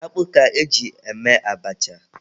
Akpụ ka e ji eme abacha.